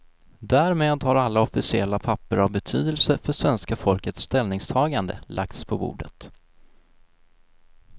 Därmed har alla officiella papper av betydelse för svenska folkets ställningstagande lagts på bordet.